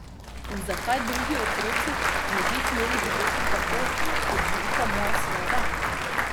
In zakaj drugi otroci ne bi smeli živeti tako, kot živita moja sinova?